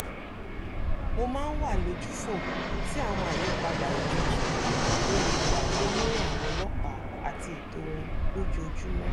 mo máa ń wà lójúfò sí àwọn àyípadà òjijì tó lè wáyé nírìn àwọn ọlọ́pàá àti ètò wọn lójoojúmọ́